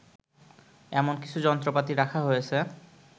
এমন কিছু যন্ত্রপাতি রাখা হয়েছে